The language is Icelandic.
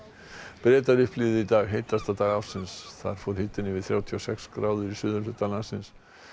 Bretar upplifðu í dag heitasta dag ársins þar fór hitinn yfir þrjátíu og sex gráður í suðurhluta landsins